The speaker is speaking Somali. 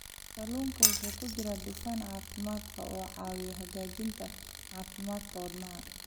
Kalluunka waxaa ku jira dufan caafimaad qaba oo caawiya hagaajinta caafimaadka wadnaha.